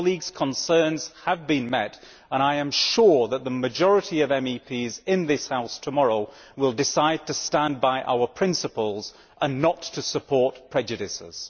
Colleagues' concerns have been met, and I am sure that the majority of MEPs in this House tomorrow will decide to stand by our principles and not to support prejudices.